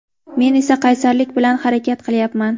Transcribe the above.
Men esa qaysarlik bilan harakat qilyapman.